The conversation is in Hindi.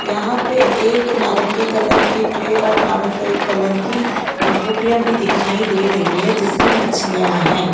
यहां पे एक नारंगी कलर की ट्रे और नारंगी कलर की पुट्टियां भी दिखाई दे रही है जिसमें मछलियां है।